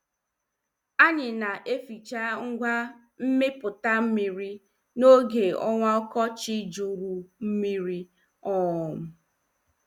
Anyị na- eficha ngwa miputa mmiri n' oge ọnwa ọkọchị jụrụ mmiri. um